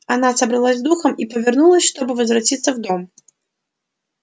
она собралась с духом и повернулась чтобы возвратиться в дом